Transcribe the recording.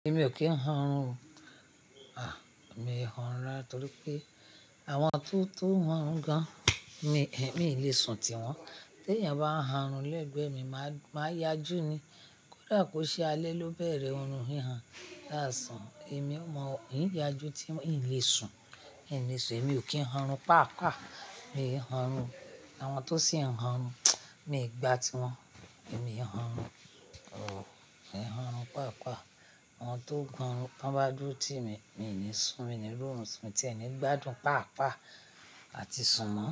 Èmi ò kí ń han ọ̀rùn o. À, emi ń han orun rara torí pé àwọn tó tó han ọ̀rùn gan mi, mi lè sùn tiwọn. Tí ènìyàn bá han ọ̀rùn lẹ́gbẹ̀ẹ́ mi máa, máa yájú ni. Kódà kó ṣe alẹ́ ló bẹ̀rẹ̀ ọ̀rùn hihan lásán, èmi mọ̀, ń yájú tí n ò lè sùn. E mi ò kí hun rùn pàápàá, mi ń hun ọ̀rùn. Àwọn tó sì ń hun ọ̀rùn, mi ò gba tiwọn, èmi ń hun ọ̀rùn. Mi ń hun ọ̀rùn pàápàá. Àwọn tó hun ọ̀rùn ta ń bá dúró ti mi, mi ní sùn, mi ní ri orun sùn, mi tí ẹ ni gbádùn pàápàá àti sùn mọ́.